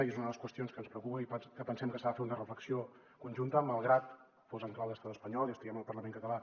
i és una de les qüestions que ens preocupen i que pensem que s’ha de fer una reflexió conjunta malgrat que fos en clau de l’estat espanyol i estiguem al parlament català